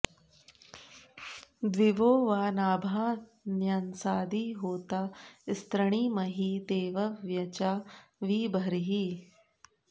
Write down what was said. दि॒वो वा॒ नाभा॒ न्य॑सादि॒ होता॑ स्तृणी॒महि॑ दे॒वव्य॑चा॒ वि ब॒र्हिः